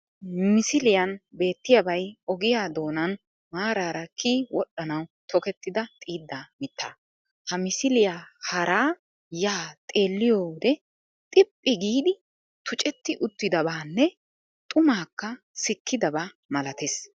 Misiliyan beettiyabay ogiya doonan maaraara kiyi wodhdhanawu tokettida xiiddaa mitaa. Ha misiliya haara ya xeelliyode xiphphi giidi tucetti uttidabanne xumaakka sikkidaba malatees